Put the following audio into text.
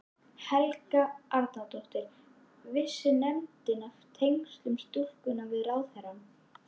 Helga Arnardóttir: Vissi nefndin af tengslum stúlkunnar við ráðherrann?